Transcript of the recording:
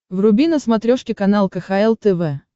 вруби на смотрешке канал кхл тв